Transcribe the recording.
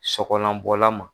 Sɔkɔlanbɔla man.